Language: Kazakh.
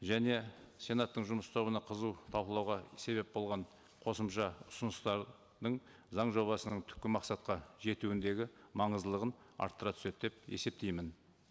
және сенаттың жұмыс тобына қызу талқылауға себеп болған қосымша ұсыныстардың заң жобасының түпкі мақсатқа жетуіндегі маңыздылығын арттыра түседі деп есептеймін